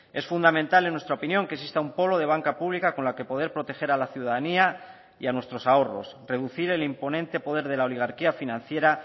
es fundamental en nuestra opinión que exista un polo de banca pública con la que poder proteger a la ciudadanía y a nuestros ahorros reducir el imponente poder de la oligarquía financiera